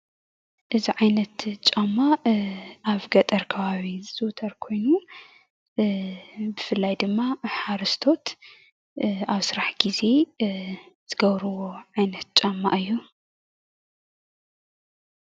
እዚ ዓይነት ጫማ አብ ገጠር ከባቢታት ዝዝውተር ኮይኑ ብፍላይ ድማ ሓረስቶት አብ ስራሕ ግዜ ዝገብርዎ ዓይነት ጫማ እዩ።